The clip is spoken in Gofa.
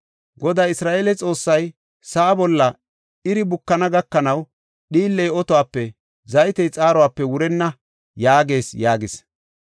Goday, Isra7eele Xoossay, ‘Sa7aa bolla iri bukana gakanaw dhiilley otuwape zaytey xaaruwape wurenna’ yaagees” yaagis.